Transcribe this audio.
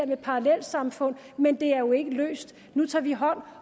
med parallelsamfund men det er jo ikke løst nu tager vi hånd